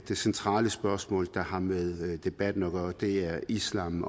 det centrale spørgsmål der har med debatten at gøre og det er islam